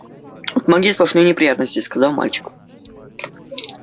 от магии сплошные неприятности сказал мальчик